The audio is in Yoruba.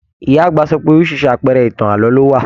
Ìyá àgbà sọ pé oríṣiríṣi àpẹẹrẹ ìtàn ààlọ́ ló wà.